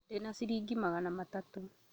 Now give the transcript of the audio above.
Ndĩna ciringi magana matatũ